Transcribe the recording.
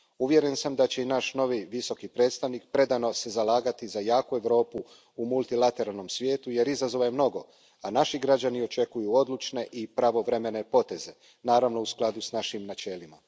Uvjeren sam da će se i naš novi Visoki predstavnik predano zalagati za jaku Europu u multilateralnom svijetu jer izazova je mnogo, a naši građani očekuju odlučne i pravovremene poteze, naravno, u skladu s našim načelima.